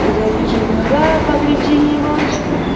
завяжи глаза покрепче не бойся